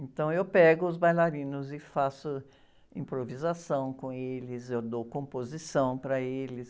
Então, eu pego os bailarinos e faço improvisação com eles, eu dou composição para eles,